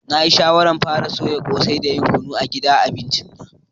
Na yi shawaran fara soyan kose da yin kunun geda a gidan abinci na.